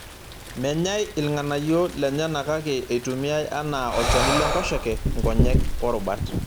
Menyai ilnganayio lenyana kake eitumiyai anaa olchani lenkoshoke, nkonyek oo rubat.